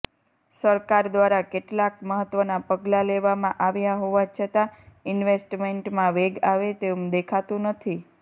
સરકાર દ્વારા કેટલાક મહત્ત્વના પગલાં લેવામાં આવ્યા હોવા છતાં ઇન્વેસ્ટેમેન્ટમાં વેગ આવે તેમ દેખાતું નથી